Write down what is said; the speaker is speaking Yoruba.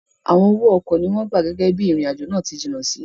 Awọn owo ọkọ ni wọn gba gege bii irin-ajo naa ti jinna si